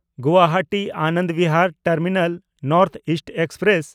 ᱜᱩᱣᱟᱦᱟᱴᱤ-ᱟᱱᱚᱱᱫᱽ Bihar terminal north East express